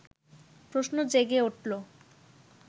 প্রশ্ন জেগে উঠল